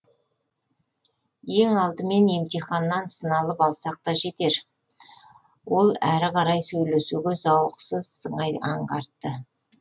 ең алдымен емтиханнан сыналып алсақ та жетер ол әрі қарай сөйлесуге зауықсыз сыңай аңғартты